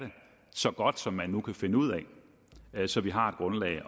så godt som man nu kan finde ud af det så vi har et grundlag